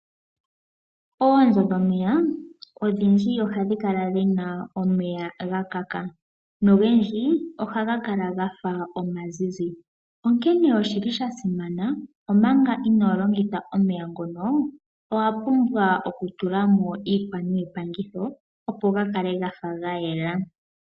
Oonzo dhomeya odhindji ohadhi kala dhina omeya gakaka, nogendji ohaga kala gafa omazizi. Onkene oshili shasimana omanga inolongitha omeya ngono owa pumbwa oku tulamo iikwa niipangitho opo gakale gafa gayela.